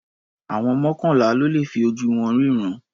Àwọn mọ́kànlá ló le fi ojú wọn rínran.